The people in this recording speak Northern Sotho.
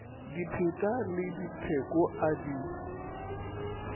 dipheta le dipheko a di